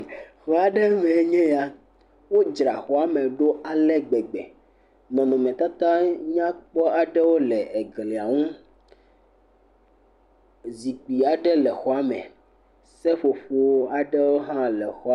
Xɔ aɖe mee nye ya. Wodzra xɔ me ɖo ale gbegbe. Nɔnɔmetata nyakpɔ aɖewo le glia nu. Zikpui aɖe le xɔa me. Seƒoƒo aɖewo hã le xɔa me.